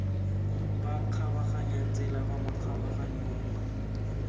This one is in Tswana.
ba kgabaganyang tsela fa makgabaganyong